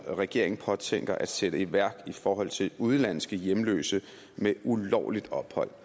regeringen påtænker at sætte i værk i forhold til udenlandske hjemløse med ulovligt ophold